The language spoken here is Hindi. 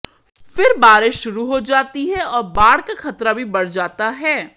फिर बारिश शुरू हो जाती है और बाढ़ का खतरा भी बढ़ जाता है